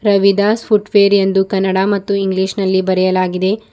Ravidas footwear ಎಂದು ಕನ್ನಡ ಮತ್ತು English ನಲ್ಲಿ ಬರೆಯಲಾಗಿದೆ.